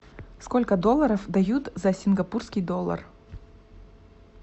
сколько долларов дают за сингапурский доллар